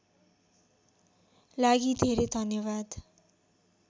लागि धेरै धन्यवाद